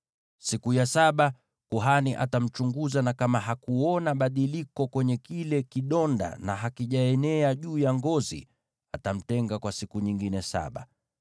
Siku ya saba, kuhani atamchunguza, na kama hakuona badiliko kwenye kile kidonda na hakijaenea juu ya ngozi, atamtenga kwa siku nyingine saba.